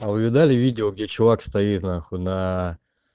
а вы видали видео где чувак стоит на хуй на